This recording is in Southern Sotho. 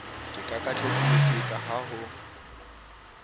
ke kakatletse lefika ha ho